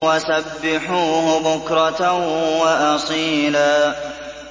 وَسَبِّحُوهُ بُكْرَةً وَأَصِيلًا